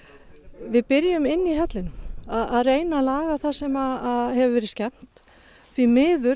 við byrjum inni í hellinum að reyna laga það sem hefur verið skemmt því miður